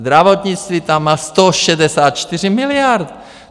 Zdravotnictví tam má 164 miliard!